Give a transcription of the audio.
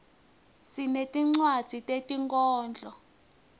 sinetinwadzi tetinkhondlo